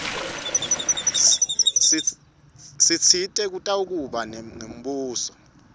sitsite kutakuba ngumbuso